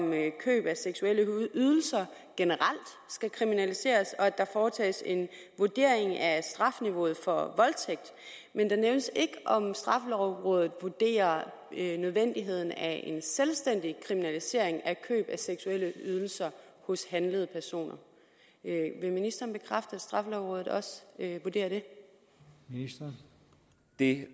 køb af seksuelle ydelser generelt skal kriminaliseres og at der foretages en vurdering af strafniveauet for voldtægt men det nævnes ikke om straffelovrådet vurderer nødvendigheden af en selvstændig kriminalisering af køb af seksuelle ydelser hos handlede personer vil ministeren bekræfte at straffelovrådet også vurderer det det